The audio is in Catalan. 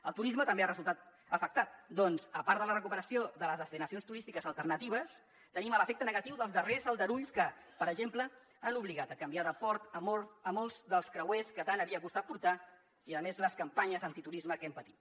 el turisme també ha resultat afectat perquè a part de la recuperació de les destinacions turístiques alternatives tenim l’efecte negatiu dels darrers aldarulls que per exemple han obligat a canviar de port molts dels creuers que tant havia costat portar i a més les campanyes antiturisme que hem patit